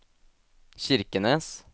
Kirkenes